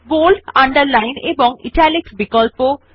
bold underline এবং italics বিকল্প